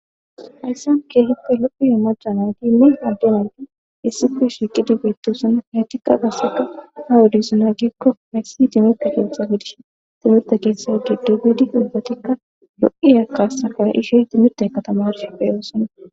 Hayssan keehippe lo'iya maca nayitine adde nayit issippe shiiqidi beetosona. Etikka qassikka ha wodesa gikko timirte keeththa gidishn timirte keeththa giddo gelidi ubbatikka lo'iya kaasaa ka'ishen timirteka tamarishe pe'osona.